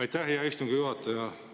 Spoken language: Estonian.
Aitäh, hea istungi juhataja!